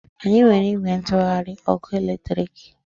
Anyị nwere ìgwè ntụgharị ọkụ eletriki.